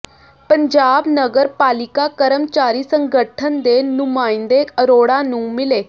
ਪੰਜਾਬ ਨਗਰ ਪਾਲਿਕਾ ਕਰਮਚਾਰੀ ਸੰਗਠਨ ਦੇ ਨੁਮਾਇੰਦੇ ਅਰੋੜਾ ਨੂੰ ਮਿਲੇ